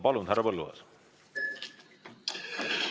Palun, härra Põlluaas!